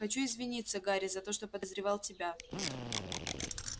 хочу извиниться гарри за то что подозревал тебя